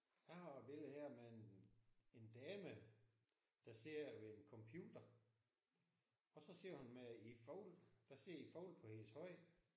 Jeg har et billede her med en en dame der sidder ved en computer og så sidder hun med en fugl. Der sidder en fugl på hendes hånd